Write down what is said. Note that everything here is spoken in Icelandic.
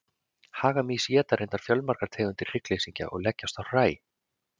Hagamýs éta reyndar fjölmargar tegundir hryggleysingja og leggjast á hræ.